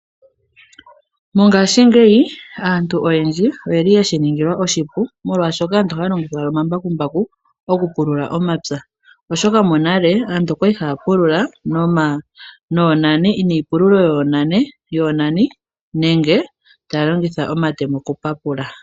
Mongaashingeyi aantu oyendji oyeli yeshi ningilwa oshipu molwaashoka aantu ohaya longitha owala omambakumbaku moku pulula omapya oshoka monale aantu okwali haya pulula noonani, niipululo yoonani nenge taya longitha omatemo oku papula.